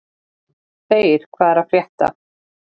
Þeyr, hvað er að frétta?